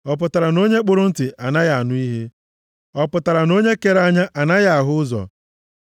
Ọ pụtara na onye kpụrụ ntị anaghị anụ ihe? Ọ pụtara na onye kere anya anaghị ahụ ụzọ?